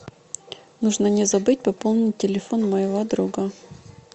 нужно не забыть пополнить телефон моего друга